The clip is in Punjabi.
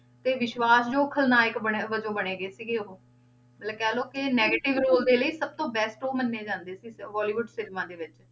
ਤੇ ਵਿਸਵਾਸ਼ਯੋਗ ਖਲਨਾਇਕ ਬਣੇ ਵਜੋਂ ਬਣੇ ਗਏ ਸੀਗੇ ਉਹ, ਮਤਲਬ ਕਹਿ ਲਓ ਕਿ negative ਰੋਲ ਦੇ ਲਈ ਸਭ ਤੋਂ best ਉਹ ਮੰਨੇ ਜਾਂਦੇ ਸੀ, ਬੋਲੀਵੁਡ cinema ਦੇ ਵਿੱਚ।